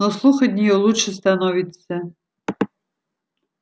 но слух от нее лучше становится